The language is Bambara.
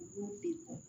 U b'u bɛɛ bɔ